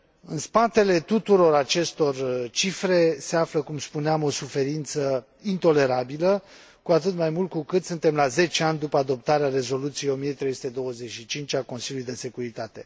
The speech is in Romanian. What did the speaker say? În spatele tuturor acestor cifre se află, cum spuneam, o suferință intolerabilă, cu atât mai mult cu cât suntem la 10 ani după adoptarea Rezoluției 1325 a Consiliului de securitate.